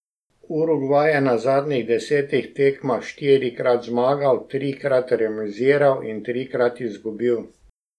Urugvaj je na zadnjih desetih tekmah štirikrat zmagal, trikrat remiziral in trikrat izgubil.